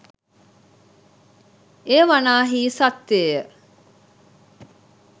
එය වනාහී සත්‍යය